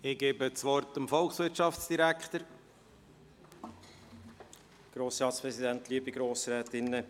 Ich gebe dem Volkswirtschaftsdirektor das Wort.